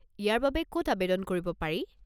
ইয়াৰ বাবে ক'ত আৱেদন কৰিব পাৰি?